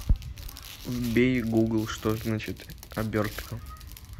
вбей гугл что значит обертка